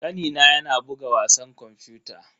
Kanina yana buga wasan kwamfuta.